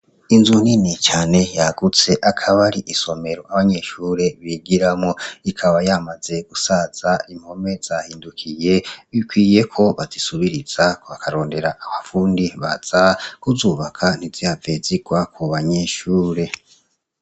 Inzu nini cane yagutse akabari isomero abanyeshure bigiramwo ikaba yamaze gusaza impome zahindukuyi bikwiye ko bazisubiriza bakarondera abafundi baza kuzubaka ntizihave zirwa kubanyeshure